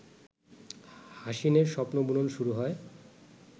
হাসিনের স্বপ্নবুনন শুরু হয়